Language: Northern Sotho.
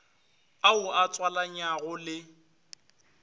ao o a tswalanyago le